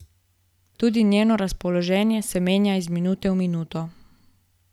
Tudi njeno razpoloženje se menja iz minute v minuto.